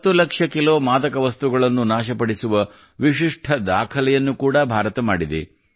10 lakh kilo ಮಾದಕ ವಸ್ತುಗಳನ್ನು ನಾಶಪಡಿಸುವ ವಿಶಿಷ್ಠ ದಾಖಲೆಯನ್ನು ಕೂಡಾ ಭಾರತ ಮಾಡಿದೆ